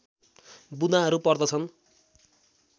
बुँदाहरू पर्दछन्